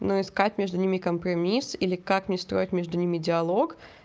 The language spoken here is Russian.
ну искать между ними компромисс или как мне строить между ними диалог